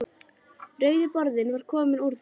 Rauði borðinn var kominn úr því.